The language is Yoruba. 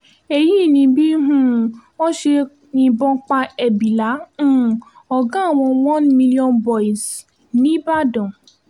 èyí ni bí um wọ́n ṣe yìnbọn pa ẹ́bílà um ọ̀gá àwọn one million boys níìbàdàn